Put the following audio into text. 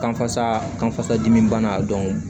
Kanfasa kanfasa dimi bana